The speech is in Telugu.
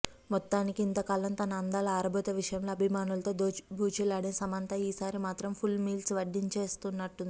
మొత్తానికి ఇంతకాలం తన అందాల ఆరబోత విషయంలో అభిమానులతో దోబూచులాడిన సమంత ఈసారి మాత్రం ఫుల్ మీల్స్ వడ్డించేస్తున్నట్టుంది